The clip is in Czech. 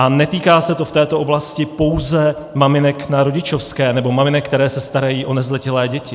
A netýká se to v této oblasti pouze maminek na rodičovské nebo maminek, které se starají o nezletilé děti.